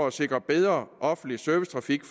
at sikre en bedre offentlig servicetrafik